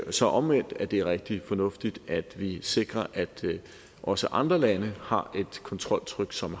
så omvendt at det er rigtig fornuftigt at vi sikrer at også andre lande har et kontroltryk som